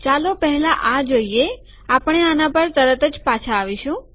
ચાલો પહેલા આ જોઈએ આપણે આના પર તરતજ પાછા આવશું